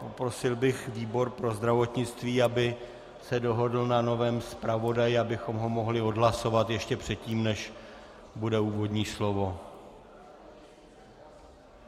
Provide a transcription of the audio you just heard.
Poprosil bych výbor pro zdravotnictví, aby se dohodl na novém zpravodaji, abychom ho mohli odhlasovat ještě předtím, než bude úvodní slovo.